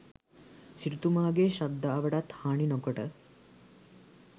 සිටුතුමාගේ ශ්‍රද්ධාවටත් හානි නොකොට